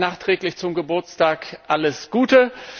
Ihnen auch noch nachträglich zum Geburtstag alles Gute!